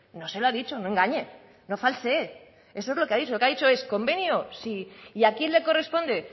no se lo ha dicho no engañe no falsee eso es lo que ha dicho lo que ha dicho es convenio sí y a quién le corresponde